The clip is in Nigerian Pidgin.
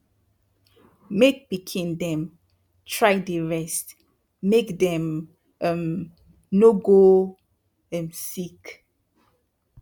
make pikin dem try dey rest make dem um no go um sick